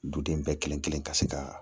Duden bɛɛ kelen-kelen ka se ka